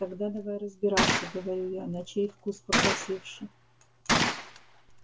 тогда давай разбираться говорю я на чей вкус покрасивше